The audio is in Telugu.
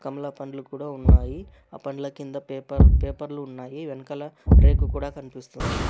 కమల పండ్లు కూడా ఉన్నాయి ఆ పండ్ల కింద పేపర్ పేపర్లు ఉన్నాయి వెన్ కల రేకు కూడా కనిపిస్తుంది.